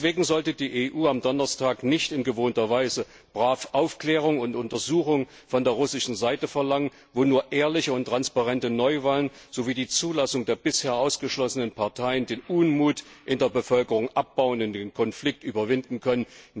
Deswegen sollte die EU am Donnerstag nicht in gewohnter Weise brav Aufklärung und Untersuchung von der russischen Seite verlangen, wo nur ehrliche und transparente Neuwahlen sowie die Zulassung der bisher ausgeschlossenen Parteien den Unmut in der Bevölkerung abbauen und den Konflikt überwinden können.